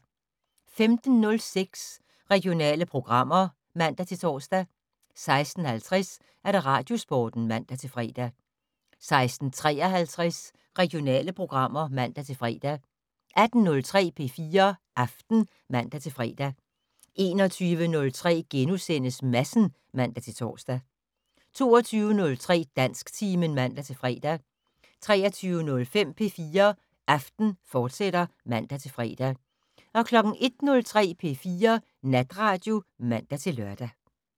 15:06: Regionale programmer (man-tor) 16:50: Radiosporten (man-fre) 16:53: Regionale programmer (man-fre) 18:03: P4 Aften (man-fre) 21:03: Madsen *(man-tor) 22:03: Dansktimen (man-fre) 23:05: P4 Aften, fortsat (man-fre) 01:03: P4 Natradio (man-lør)